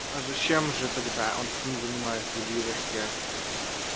а зачем же тогда он с ним занимается удивилась я